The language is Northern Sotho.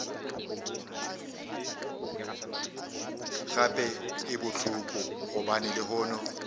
gape e bohloko gobane lehono